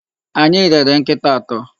Anyị rere nkịta atọ.